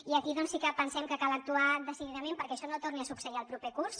i aquí sí que pensem que cal actuar decididament perquè això no torni a succeir el proper curs